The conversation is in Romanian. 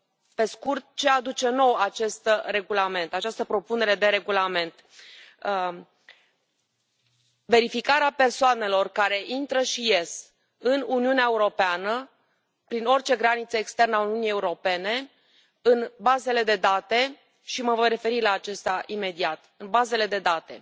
Pe scurt, ce aduce nou această propunere de regulament verificarea persoanelor care intră și ies în Uniunea Europeană, prin orice graniță externă a Uniunii Europene, în bazele de date și mă voi referi la aceasta imediat în bazele de date.